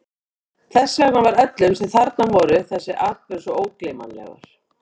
Þess vegna var öllum, sem þarna voru, þessi atburður svo ógleymanlegur.